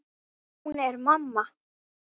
Hún er mamma.